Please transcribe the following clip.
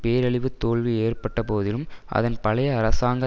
பேரழிவுத் தோல்வி ஏற்பட்டபோதிலும் அதன் பழைய அரசாங்க